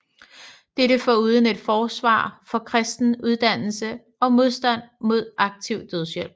Dette foruden et forsvar for kristen uddannelse og modstand mod aktiv dødshjælp